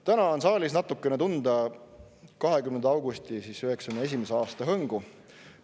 Täna on saalis natukene tunda 1991. aasta 20. augusti hõngu.